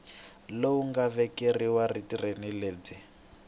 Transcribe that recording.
lowu nga vekeriwa vutirheli lebyi